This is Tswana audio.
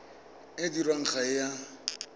o dirwang ga o a